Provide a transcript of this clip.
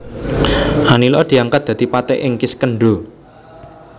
Anila diangkat dadi patih ing Kiskendha